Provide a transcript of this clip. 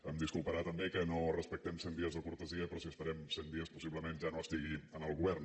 em disculparà també que no respectem cent dies de cortesia però si esperem cent dies possiblement ja no estigui en el govern